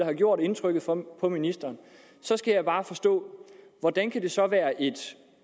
har gjort indtryk på ministeren så skal jeg bare forstå hvordan kan det så være et